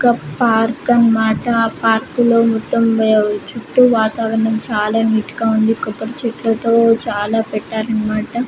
ఒక పార్క్ అన్నమాట ఆ పార్క్ లో మొత్తం వేవ్ చుట్టూ వాతావరణం చాలా నీట్ గా ఉంది. కొబ్బరి చెట్లతో చాలా పెట్టారన్నమాట.